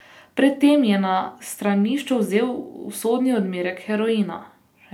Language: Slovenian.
Pred tem je na stranišču vzel usodni odmerek heroina.